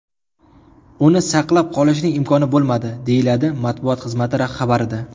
Uni saqlab qolishning imkoni bo‘lmadi”, deyiladi matbuot xizmati xabarida.